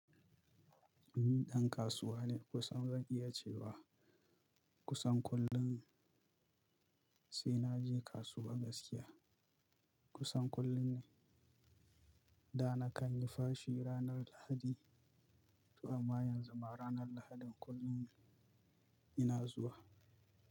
Ni ɗan kasuwa ne kusan zan iya cewa kusan kullum sai naje kasuwa gaskiya. Kusan kullum ne. Da na kalli fashi ranar Lahadi, amma yanzu ma ranar Lahadin kullum ina zuwa.